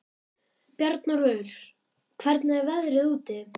Bjarnólfur, hvernig er veðrið úti?